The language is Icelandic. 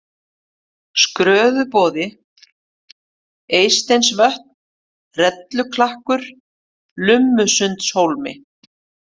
Skörðuboði, Eysteinsvötn, Relluklakkur, Lummusundshólmi